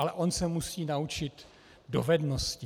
Ale on se musí naučit dovednosti.